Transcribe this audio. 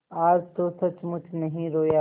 आज तो सचमुच नहीं रोया